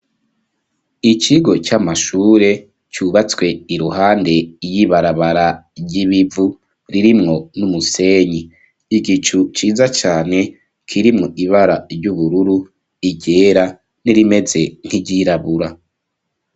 Ikigo cy'amashure cyubatswe iruhande y'ibarabara ry'ibivu ririmwo n'umusenyi igicu ciza cane kirimo ibara ry'ubururu iryera n'irimeze nk'iryirabura.